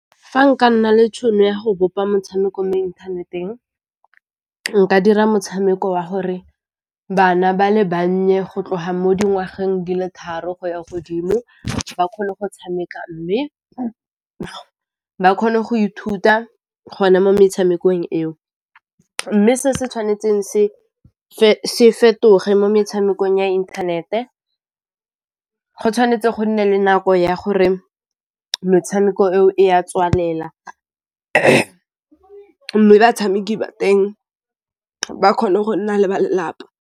Fa nka nna le tšhono ya go bopa motshameko mo inthaneteng, nka dira motshameko wa gore bana ba le bannye go tloga mo dingwageng di le tharo go ya godimo ba kgone go tshameka mme ba kgone go ithuta gona mo metshamekong eo, mme se se tshwanetseng se fetoge mo metshamekong ya inthanete go tshwanetse go nne le nako ya gore metshameko eo e ya tswalela mme batshameki ba teng ba kgone go nna le ba lelapa.